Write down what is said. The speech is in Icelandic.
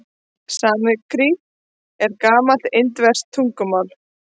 Sanskrít er gamalt indverskt tungumál.